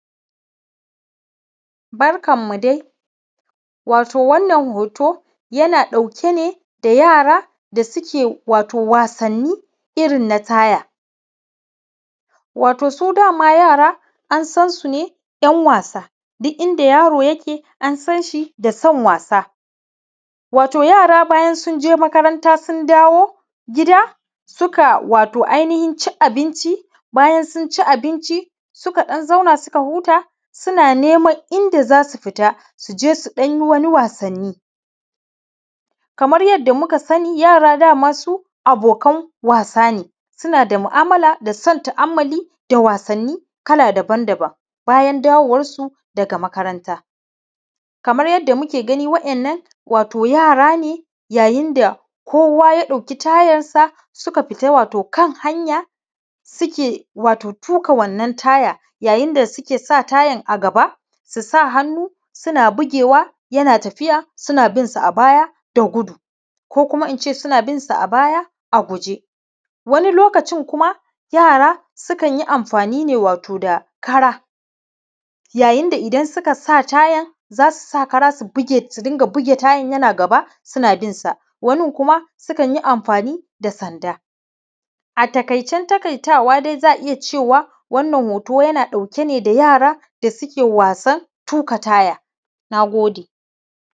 Barkanmu dai, wato wannan ho:to yana ɗauke ne da yara da suke wato wasanni irin na taaya. wato su dama yara an san su ne yan wasa duk inda yaro yake, an san shi da san wasa wato yara, bayan sun je makaranta, sun dawo gida, suka wato ainihin ci abinci, bayan sun ci abinci, suka ɗan zauna, suka huta, suna neman inda za su fita su je su ɗan yi wasanni. kamar yadda muka sani, yara da masu abokan wasa ne, suna da mu’amala da son ta’ammali da wasanni kala-daban-daban. Bayan dawowar su daga makaranta, kamar yadda muke gani, waɗannan wato yara ne, yayin da kowa ya ɗauki tayansa, suka fita wato kan hanya suke, wato tuƙa wannan tayan yayin da suke tuƙa wannan taayan, a gaba su sa hannu suna bugewa, yana tafiya, suna bin sa a baya da gudu, ko kuma in ce suna bin sa a baya a guje. wani loakaci kuma, yara sukan yi amfani ne wato da kara, yayin da idan suka sa tayan, za su sa kara su bige, wato su dinga buge tayan, yana gaba, suna bin sa wanin kuma sukan yi amfani da sanda. A taƙicen taƙaitwa, za a iya cewa wannan hoto yana ɗauke ne da yaran da suke wasan tuƙa taya. Na gode.